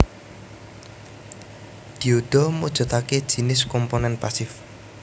Dioda mujudake jinis komponen pasif